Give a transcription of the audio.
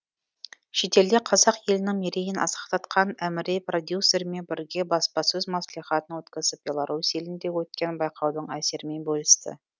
шетелде қазақ елінің мерейін асқақтатқан әміре продюсерімен бірге баспасөз мәслихатын өткізіп беларусь елінде өткен байқаудың әсерімен бөлісті